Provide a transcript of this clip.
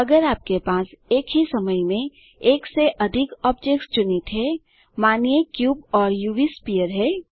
अगर आपके पास एक ही समय में एक से अधिक ऑब्जेक्ट्स चुनित हैं मानिए क्यूब और उव स्फीयर है